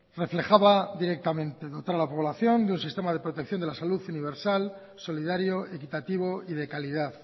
reflejaba directamente dotar a la población de un sistema de protección de la salud universal solidario equitativo y de calidad